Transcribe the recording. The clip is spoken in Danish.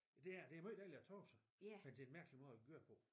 Det er det det er måj dejligt at tabe sig men det er en mærkelig måde at gøre det på